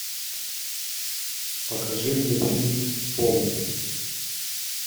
покажи мне фильм помни